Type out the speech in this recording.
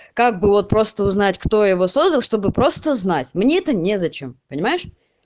как было просто узнать кто его создал чтобы просто знать мне это незачем понимаешь